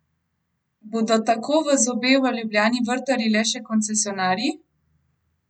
Bodo tako v zobe v Ljubljani vrtali le še koncesionarji?